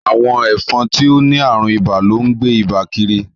Awọn ẹfọn ti o ni arùn ìbà lón gbé Ìbà kírí.